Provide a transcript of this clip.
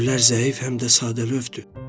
Güllər zəif, həm də sadəlövhdür.